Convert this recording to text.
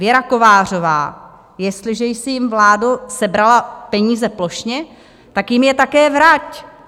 Věra Kovářová: "Jestliže jsi jim, vládo, sebrala peníze plošně, tak jim je také vrať!